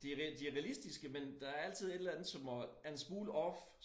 De er de realistiske men der altid et eller andet som er en smule off